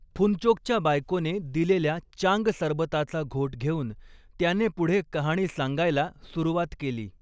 फुनचोकच्या बायकोने दिलेल्या चांग सरबताचा घोट घेऊन त्याने पुढे कहाणी सांगायला सुरवात केली.